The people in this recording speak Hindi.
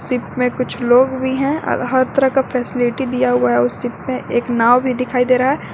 शिप में कुछ लोग भी हैं और हर तरह का फैसिलिटी दिया हुआ है उस शिप में एक नाव भी दिखाई दे रहा है।